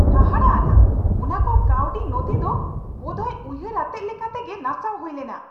ᱦᱟᱦᱟᱲᱟ ᱟᱱᱟᱜ ! ᱚᱱᱟ ᱠᱚ ᱠᱟᱹᱣᱰᱤ ᱱᱚᱛᱷᱤ ᱫᱚ ᱵᱚᱫᱦᱚᱭ ᱩᱭᱦᱟᱹᱨ ᱟᱛᱮᱫ ᱞᱮᱠᱟ ᱛᱮᱜᱮ ᱱᱟᱥᱟᱣ ᱦᱩᱭ ᱞᱮᱱᱟ !